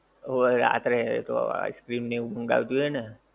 હોવે રાત્રે એ તો આઇસ ક્રીમ ને એવું મંગાવ્યું હતું એ ને?